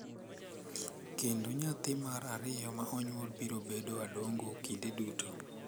kendo nyathi mar ariyo ma onyuol biro bedo Adongo kinde duto.